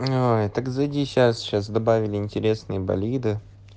ой так зайди сейчас сейчас добавили интересные болиды